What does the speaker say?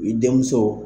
I denmuso